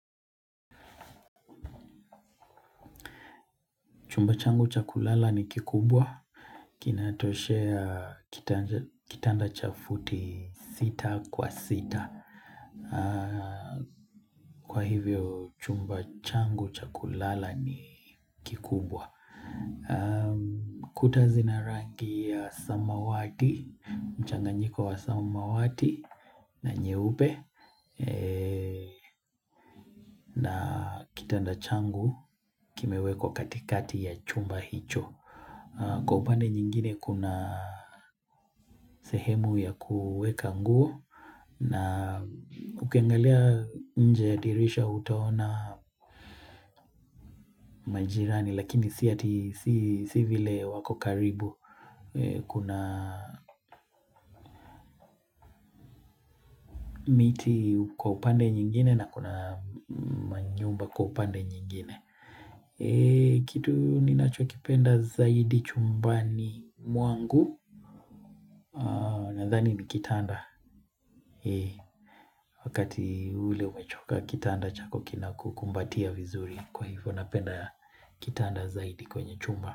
Chumba changu cha kulala ni kikubwa. Kina toshea kitanda cha futi sita kwa sita. Kwa hivyo, chumba changu chakulala ni kikubwa. Kuta zina rangi ya samawati, mchanganyiko wa samawati na nyeupe. Na kitanda changu kimewekwa katikati ya chumba hicho. Kwa upande nyingine kuna sehemu ya kuweka nguo na ukiangalia nje ya dirisha utaona majirani lakini si ati si vile wako karibu kuna miti kwa upande nyingine na kuna manyumba kwa upande nyingine. Kitu ninachokipenda zaidi chumbani mwangu nadhani ni kitanda. Wakati ule umechoka kitanda chako kina kukumbatia vizuri. Kwa hivyo napenda kitanda zaidi kwenye chumba.